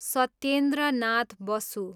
Satyendra Nath Basu